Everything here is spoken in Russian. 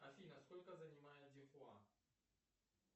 афина сколько занимает зихуа